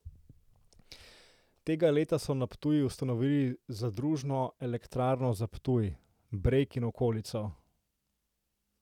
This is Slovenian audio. Tega leta so na Ptuju ustanovili zadružno elektrarno za Ptuj, Breg in okolico.